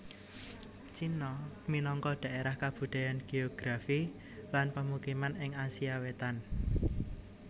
Cina minangka dhaérah kabudayan geografi lan pemukiman ing Asia Wétan